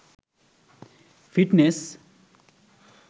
fitness